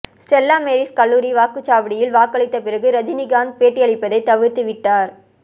Stella Maris கல்லூரி வாக்குச்சாவடியில் வாக்களித்த பிறகு ரஜினிகாந்த் பேட்டியளிப்பதை தவிர்த்துவிட்டார்